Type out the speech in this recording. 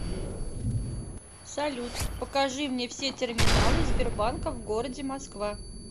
салют покажи мне все терминалы сбербанка в городе москва